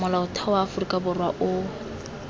molaotheo wa aforika borwa o